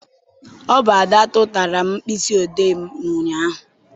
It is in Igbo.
Ọ bụ Ada tụtara m mkpịsị odee m ụnyaahụ.